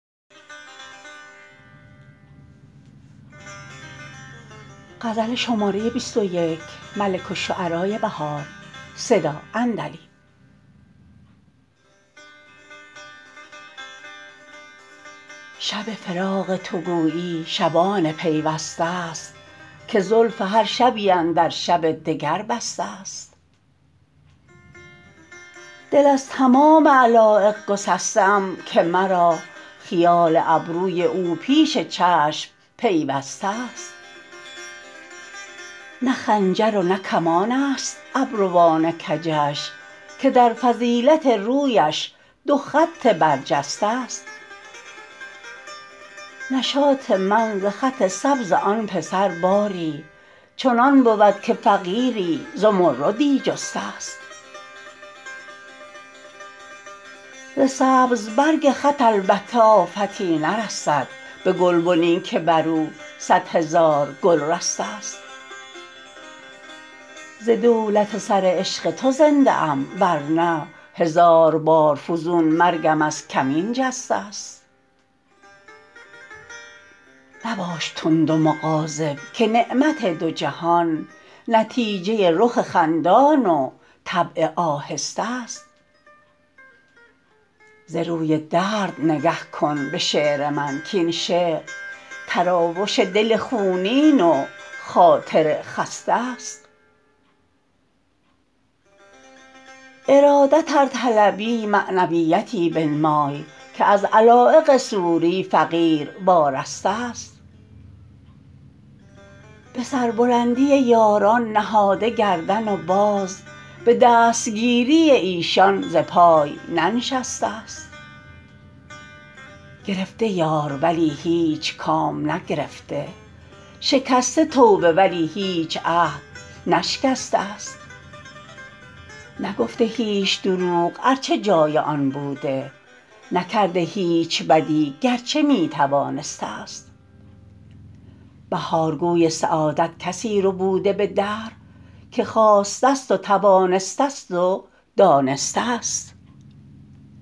شب فراق تو گویی شبان پیوسته است که زلف هرشبی اندرشب دگربسته است دل از تمام علایق گسسته ام که مرا خیال ابروی او پیش چشم پیوسته است نه خنجر و نه کمانست ابروان کجش که در فضیلت رویش دو خط برجسته است نشاط من ز خط سبز آن پسر باری چنان بود که فقیری زمردی جسته است ز سبز برگ خط البته آفتی نرسد به گلبنی که برو صدهزار گل رسته است ز دولت سر عشق تو زنده ام ورنه هزار بار فزون مرگم از کمین جسته است مباش تند و مغاضب که نعمت دو جهان نتیجه رخ خندان و طبع آهسته است ز روی درد نگه کن به شعر من کاین شعر تراوش دل خونین و خاطر خسته است ارادت ار طلبی معنویتی بنمای که از علایق صوری فقیر وارسته است به سربلندی یاران نهاده گردن و باز به دستگیری ایشان ز پای ننشسته است گرفته یار ولی هیچ کام نگرفته شکسته توبه ولی هیچ عهد نشکسته است نگفته هیچ دروغ ارچه جای آن بوده نکرده هیچ بدی گرچه می توانسته است بهار گوی سعادت کسی ربوده به دهر که خواسته است و توانسته است و دانسته است